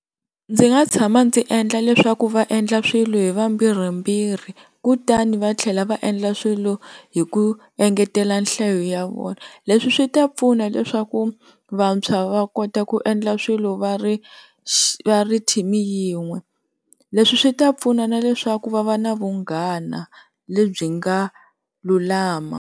Ndzi nga tshama ndzi endla leswaku va endla swilo hi vambirhimbirhi kutani va tlhela va endla swilo hi ku engetela nhlayo ya vona leswi swi ta pfuna leswaku vantshwa va kota ku endla swilo va ri va ri team yin'we, leswi swi ta pfuna na leswaku va va na vunghana lebyi nga lulama.